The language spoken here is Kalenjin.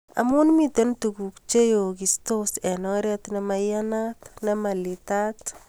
amu miten tukuk cheyokistos eng oret nemoiyanat/nemalitat